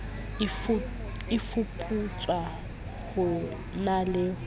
e fuputswa ho na ho